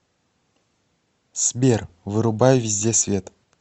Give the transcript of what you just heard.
сбер вырубай везде свет